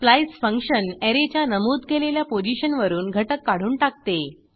splice function ऍरेच्या नमूद केलेल्या पोझिशनवरून घटक काढून टाकते